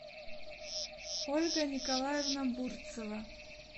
ольга николаевна бурцева